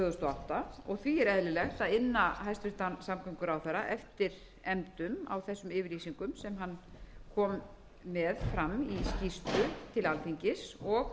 átta og því er eðlilegt að inna hæstvirtan samgönguráðherra eftir efndum á þessum yfirlýsingum sem hann kom með fram í skýrslu